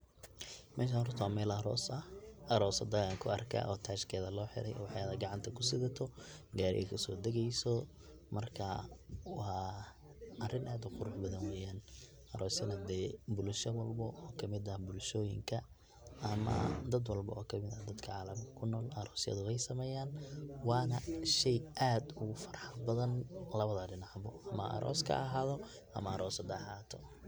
Meshan horta wa meel aros ah arosada ayan kuarka oo tashkedan loxire, ubaxeda gacanta kudwadato gari kasodageyso marka wa arin ad uqurux badan, arosna hade bulsha walbo oo kamid ah bulshoyinka ama dad walbo oo kamid ah dadka calamka kunol arosyada wey sameyan wana shey aad ogufarxad badan lawada dinac bo ama aroska haahadho ama arosada ha ahato.